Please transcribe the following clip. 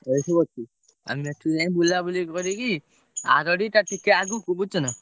ଏଇ ସବୁ ଅଛି ଆମେ ଏଠୁ ଯାଇ ବୁଲାବୁଲି କରିକି ଆରଡି ତା ଟିକେ ଆଗକୁ ବୁଝୁଛନା?